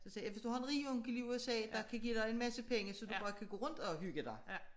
Så siger jeg ja hvis du har en rig onkel i USA der kan give dig en masse penge så du bare kan gå rundt at hygge dig